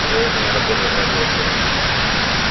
вероятно не работает радиоцепь